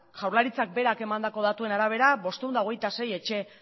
jaurlaritzak berak emandako datuen arabera bostehun eta hogeita sei etxe